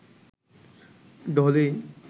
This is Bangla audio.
ডলি